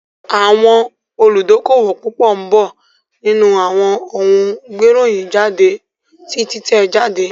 Àwọn olùdókówò púpọ̀ ń bọ̀ nínú àwọn ohun gbé ìròyìn jáde ti títẹ̀ jáde